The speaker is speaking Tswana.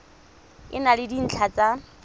e na le dintlha tsa